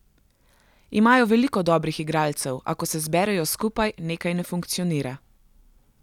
Imajo veliko dobrih igralcev, a ko se zberejo skupaj, nekaj ne funkcionira.